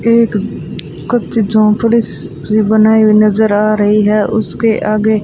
एक कच्ची झोंपड़ी सी बनाई हुई नज़र आ रही है उसके आगे--